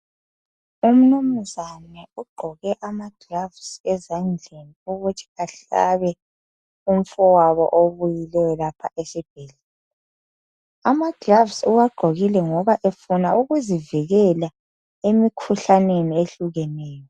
Untombazana ugqoke amagilavusi ezandleni ukuthi ahlabe umfowabo obuyileyo esibhedlela. Amagilavusi uwagqokile ngoba efuna ukuzivikela emikhuhlaneni ehlukeneyo.